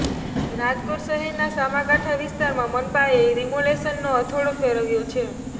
રાજકોટ શહેરના સામા કાંઠા વિસ્તારમાં મનપાએ ડિમોલિશનનો હથોડો ફેરવ્યો છે